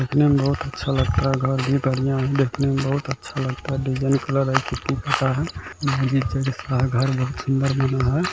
देखने में बहुत अच्छा लगता है घर भी बढ़िया है देखने में बहुत अच्छा लगता है डिज़ाइन कलर है यहाँ नीचे दिख रहा है घर बहुत सुंदर बना है।